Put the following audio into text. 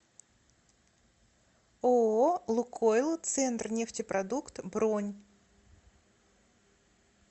ооо лукойл центрнефтепродукт бронь